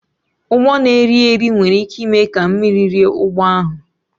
Ụgbọ na-eri eri nwere ike ime ka mmiri rie ụgbọ ahụ